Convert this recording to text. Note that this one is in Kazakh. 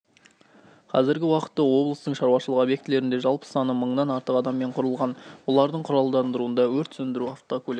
қазіргі уақытта облыстың шаруашылық обьектілерінде жалпы саны мыңнан артық адаммен құрылған олардың құралдандыруында өрт сөндіру автокөлігі